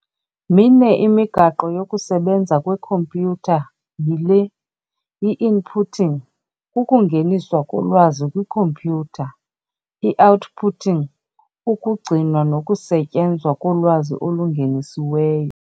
Mine imigaqo yokusebenza kwekhompyutha, yile- i-inputting, kukungeniswa kolwazi kwikhompyutha, i-outputting, ukugcinwa nokusetyenzwa kolwazi olungenisiweyo.